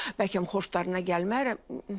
Bəlkə xoşlarına gəlmərəm.